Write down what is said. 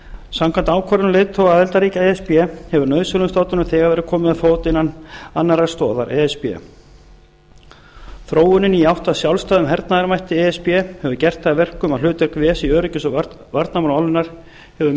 samkvæmt ákvörðunum leiðtoga aðildarríkja e s b hefur nauðsynlegum stofnunum þegar verið komið á fót innan annarra stoða e s b þróunin í átt að sjálfstæðum hernaðarmætti e s b hefur gert það að verkum að hlutverk ves í öryggis og varnarmálum álfunnar hefur